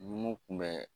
Numu kun bɛ